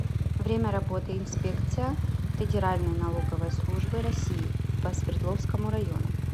время работы инспекция федеральной налоговой службы россии по свердловскому району